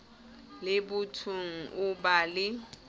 le bothong o ba le